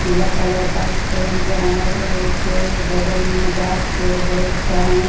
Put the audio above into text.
पीला कलर का सेंट है ओ उसके बगल में गाछ अअ बहुत-सा है।